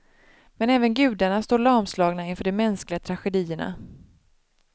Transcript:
Men även gudarna står lamslagna inför de mänskliga tragedierna.